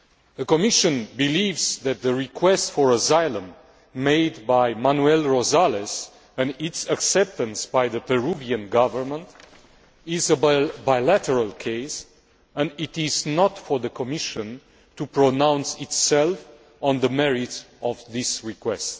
The Commission believes that the request for asylum made by Manuel Rosales, and its acceptance by the Peruvian Government, is a bilateral case and that it is not for the Commission to pronounce itself on the merits of this request.